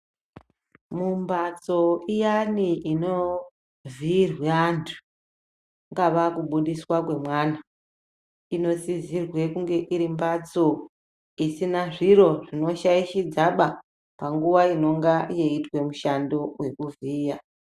Mumbatso iyani ino vhiirwe andu kungava kubudiswa kwe mwana ino sidzirwe kunge iri mbatso isina zviro zvino shaishidzaba panguva inonga weitwa mushando weku vhiya.